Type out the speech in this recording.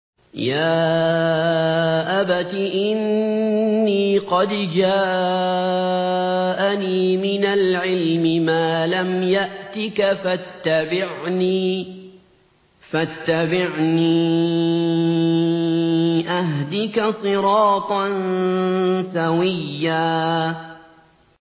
يَا أَبَتِ إِنِّي قَدْ جَاءَنِي مِنَ الْعِلْمِ مَا لَمْ يَأْتِكَ فَاتَّبِعْنِي أَهْدِكَ صِرَاطًا سَوِيًّا